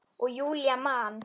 Og Júlía man.